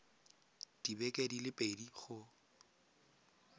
dibeke di le pedi go